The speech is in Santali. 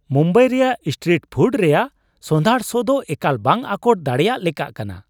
ᱢᱩᱢᱵᱟᱭ ᱨᱮᱭᱟᱜ ᱥᱴᱨᱤᱴ ᱯᱷᱩᱰ ᱨᱮᱭᱟᱜ ᱥᱚᱸᱫᱷᱟᱲ ᱥᱚᱼᱫᱚ ᱮᱠᱟᱞ ᱵᱟᱝ ᱟᱴᱚᱠ ᱫᱟᱲᱮᱭᱟᱜ ᱞᱮᱠᱟ ᱠᱟᱱᱟ ᱾